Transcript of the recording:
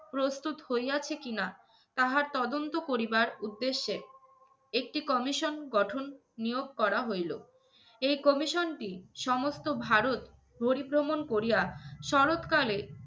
প্রস্তুত হইয়াছে কিনা তাহা তদন্ত করিবার উদ্দেশ্যে একটি commission গঠন নিয়োগ করা হইলো। এই commission টি সমস্ত ভারত পরিভ্রমণ করিয়া শরৎ কালে